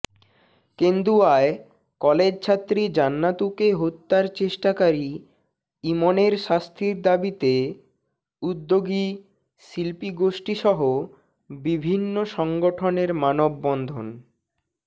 কন্দেুয়ায় কলজে ছাত্রী জান্নাতুকে হত্যার চষ্টোকারী ইমনরে শাস্তরি দাবতিে উদীচী শল্পিীগোষ্ঠীসহ বভিন্নি সংগঠনরে মানববন্ধন